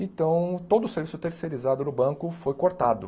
Então, todo o serviço terceirizado no banco foi cortado.